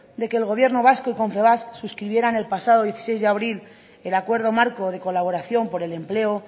de que el gobierno vasco y confebask suscribieran el pasado dieciséis de abril el acuerdo marco de colaboración por el empleo